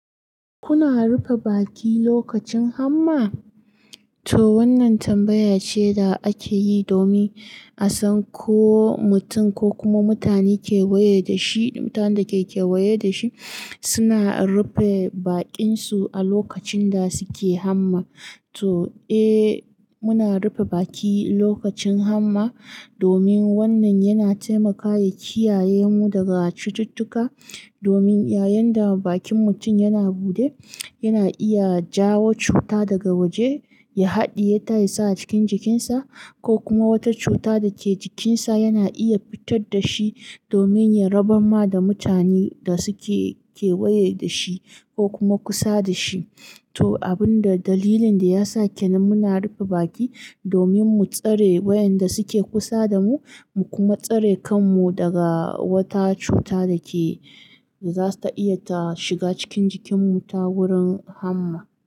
Kuna rufe baki lokacin hamma? To wannan tambaya ce da ake yi domin a san ko mutum ko kuma mutane kewaye da shi, mutanen da ke kewaye da shi suna rufe baƙinsu a lokacin da suke hamma. To, eh muna rufe baki lokacin hamma domin wannan yana taimakawa kiyaye mu daga cututtuka. Domin yayin da bakin mutum yana buɗe, yana iya jawo cuta daga waje ya haɗiye ta ya sa a cikin jikinsa ko kuma wata cuta da ke jikinsa yana iya fitar da shi domin ya rabar ma da mutanen da suke kewaye da shi ko kuma kusa da shi. To abin da dalilin da yasa kenan muna rufe baki domin mu tsare wayanda suke kusa da mu, mu kuma tsare kanmu daga wata cuta da ke, za ta iya ta shiga cikin jikinmu ta wurin hamma.